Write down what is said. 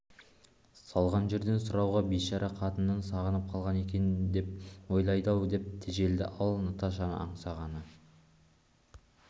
салған жерден сұрауға бейшара қатынын сағынып қалған екен деп ойлайды-ау деп тежелді ал наташаны аңсағаны